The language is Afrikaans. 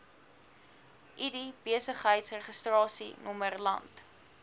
id besigheidsregistrasienommer land